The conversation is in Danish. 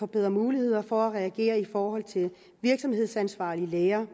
bedre muligheder for at kunne reagere i forhold til de virksomhedsansvarlige læger